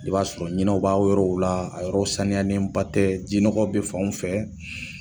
I b'a sɔrɔ ɲinɛw b'a yɔrɔw la a yɔrɔw saniyanenba tɛ ji nɔgɔ bɛ fanw fɛ